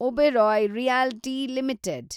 Oberoi realty limited